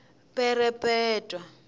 perepetwa